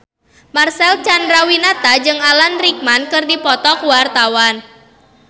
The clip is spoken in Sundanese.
Marcel Chandrawinata jeung Alan Rickman keur dipoto ku wartawan